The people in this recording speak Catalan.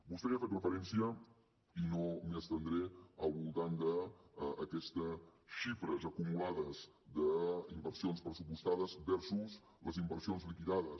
vostè hi ha fet referència i no m’hi estendré al voltant d’aquestes xifres acumulades d’inversions pressupostades versus les inversions liquidades